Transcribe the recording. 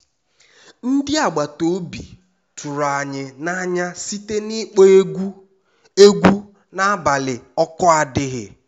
ndị agbata obi tụrụ anyị n'anya site n'ịkpọ egwu egwu n'abalị oku adighi